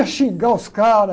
xingar os caras.